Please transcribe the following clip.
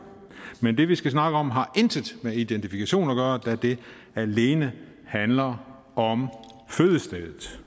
men det vi skal snakke om har intet med identifikation at gøre da det alene handler om fødestedet